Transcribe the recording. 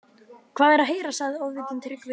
Hvað er að heyra, sagði Ofvitinn, Tryggvi